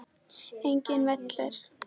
Einnig vellir.